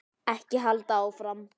Ekki halda áfram.